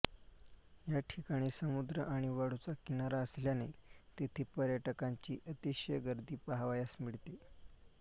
या ठिकाणी समुद्र आणि वाळूचा किनारा असल्याने तेथे पर्यटकांची अतिशय गर्दी पहावयास मिळते